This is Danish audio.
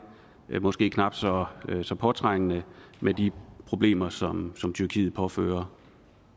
måske knap så så påtrængende med de problemer som tyrkiet påfører